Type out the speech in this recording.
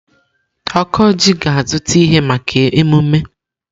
Okoji ga-azụta ihe maka emume.